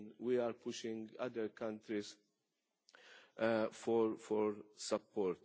Again, we are pushing other countries for support.